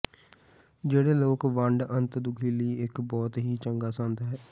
ਜਿਹੜੇ ਲੋਕ ਵੰਡ ਅੰਤ ਦੁੱਖ ਲਈ ਇੱਕ ਬਹੁਤ ਹੀ ਚੰਗਾ ਸੰਦ ਹੈ